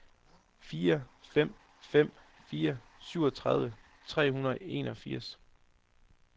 fire fem fem fire syvogtredive tre hundrede og enogfirs